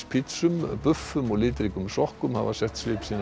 og litríkum sokkum hafa sett svip sinn á kjörtímabilið